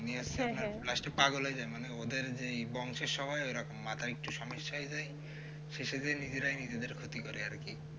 last পাগল হয়ে যায় মানে ওদের যে বংশে সবাই ঐরকম মাথায় একটু সমস্যা হয়ে যাই শেষে যে নিজেরাই নিজেদের ক্ষতি করে আর কি